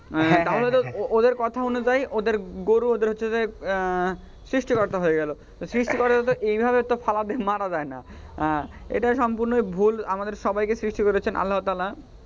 হ্যাঁ তাহলে তো ওদের কথা অনুযায়ীই ওদের গরু ওদের হচ্ছে যে আহ সৃষ্টিকর্তা হয়ে গেল, তো সৃষ্টিকর্তাদের তো এইভাবে মারা যায় না, এটাই সম্পুর্নই ভুল আমাদের সবাইকে সৃষ্টি করেছেন আল্লাহ তালা,